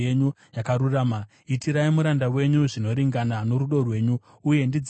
Itirai muranda wenyu zvinoringana norudo rwenyu, uye ndidzidzisei mitemo yenyu.